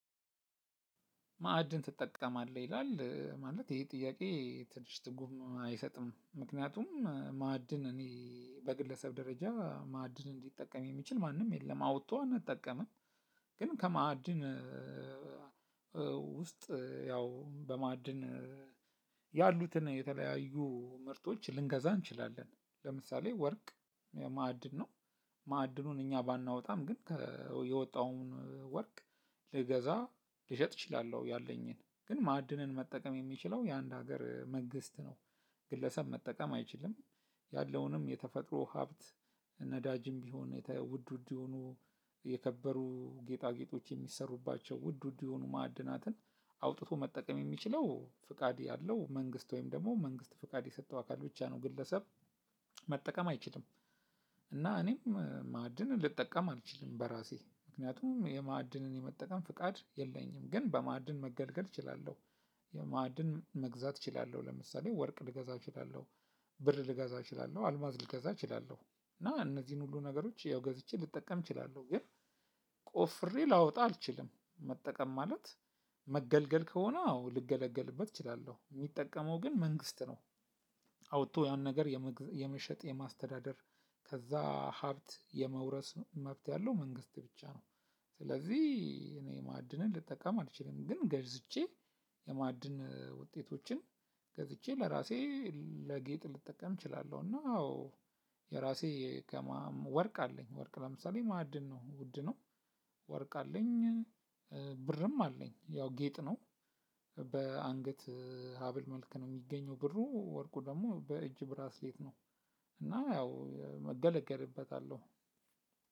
ማዕድን ትጠቀማለህ? ይላል ማለት ይሄ ጥያቄ ትንሽ ትርጉም አይሰጥም ምክንያቱም ማዕድን እኔ በግለሰብ ደረጃ ማዕድንን ሊጠቀም የሚችል ማንም የለም አውጥቶ አንጠቀምም። ግን ከማዕድን ውስጥ ያው በማዕድን ያሉትን የተለያዩ ምርትች ልንገዛ እንችላለን ለምሳሌ ወርቅ ማዕድን ነው ማዕድኑን እኛ ባናወጣም ግን የወጣውን ወርቅ ልገዛ ልሸጥ እችላለው ያለኝን ግን ማዕድንን መጠቀም የሚችለው የአንድ ሀገር መንግስት ነው። ግለሰብ መጠቀም አይችልም። ያለውንም የተፈጥሮ ሀብት ነዳጅም ቢሆን ውድ ውድ የሆኑ የከበሩ ጌጣጌጦች የሚሰሩባቸው ውድ ውድ የሆኑ ማዕድናትን አውጥቶ መጠቀም የሚችለው ፍቃድ ያለው መንግስት ወይም ደግሞ መንግስት ፍቃድ የሰጠው አካል ብቻ ነው። ግለሰብ መጠቀም አይችልም። እና እኔም ማእድንን ልጠቀም አልችልም በራሴ ምክንያቱም የማእድንን የመጠቀም ፍቃድ የለኝም ግን በማእድን መገልገል እችላለሁ። ማዕድን መግዛት እችላለሁ ለምሳሌ ወርቅ ልገዛ እችላለሁ። ብር ልገዛ እችላለሁ አልማዝ ልገዛ እችላለሁ እና እነዚህን ሁሉ ነገሮች ያው ገዝቼ ልጠቀም እችላለሁ። ግን ቆፍሬ ላወጣ አልችልም። መጠቀም ማለት መገልገል ከሆነ አዎ ልገለገልበት እችላለሁ የሚጠቀመው ግን መንግስት ነው። አውጥቶ ያን ነገር የመሸጥ የማስተዳደር ከዛ ሀብት የመውረስ መብት ያለው መንግስት ብቻ ነው። ስለዚህ እኔ ማዕድንን ልጠቀም አልችልም ግን ገዝቼ የማዕድን ውጤቶችን ገዝቼ ለራሴ ለጌጥ ልጠቀም እችላለሁ። እና አዎ የራሴ ከማም ወርቅ አለኝ ወርቅ ለምሳሌ ማዕድን ነው ውድ ነው። ወርቅ አለኝ። ብርም አለኝ ያው ጌጥ ነው። በአንገት ሀብል መልክ ነው የሚገኘው ብሩ ወርቁ ደግሞ በእጅ ብራስሌት ነው። እና ያው እገለገልበታለሁ።